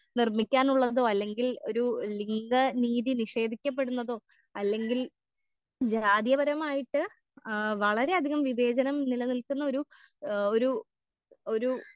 നിർമിക്കാനുള്ളതോ അല്ലെങ്കിൽ ഒരു ലിംഗ നീതി നിഷേധിക്കപ്പെടുന്നതോ അല്ലെങ്കിൽ ജാതി പരമായിട്ട് ആ വളരേ അധികം വിവേചനം നിലനിൽക്കുന്നൊരു ഏ ഒരു ഒരു.